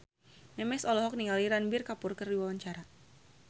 Memes olohok ningali Ranbir Kapoor keur diwawancara